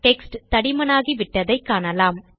text தடிமனாகிவிட்டதை காணலாம்